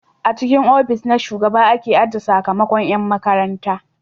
A cikin ofis na shugaba aka ajiye sakamakon yan makarantar